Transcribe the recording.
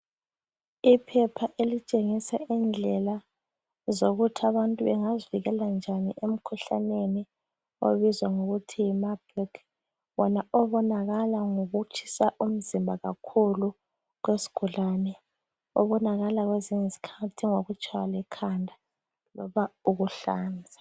Iphepha elitshengisa indlela zokuthi abantu bengazivikela njani emkhuhlaneni obizwa ngokuthi yiMarburg wona obonakala ngokutshisa umzimba kakhulu kwesigulane obonakala kwezinye izikhathi ngokutshaywa likhanda loba ukuhlanza.